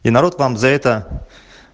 и народ вам за это